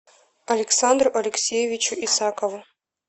александру алексеевичу исакову